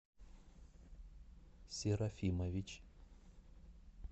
серафимович